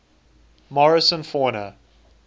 morrison fauna